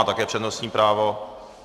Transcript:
Má také přednostní právo.